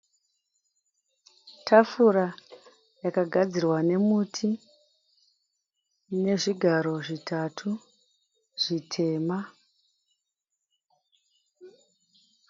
Tafura yakagadzirwa nemuti ine zvigaro zvitatu zvitema.